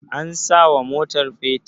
an sawa motar fetur?